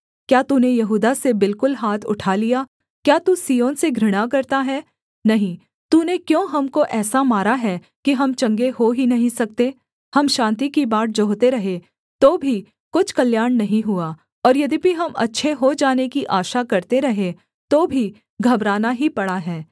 क्या तूने यहूदा से बिलकुल हाथ उठा लिया क्या तू सिय्योन से घृणा करता है नहीं तूने क्यों हमको ऐसा मारा है कि हम चंगे हो ही नहीं सकते हम शान्ति की बाट जोहते रहे तो भी कुछ कल्याण नहीं हुआ और यद्यपि हम अच्छे हो जाने की आशा करते रहे तो भी घबराना ही पड़ा है